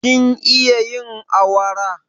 Kin iya yin awara?